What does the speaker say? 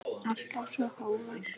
Alltaf svo hógvær.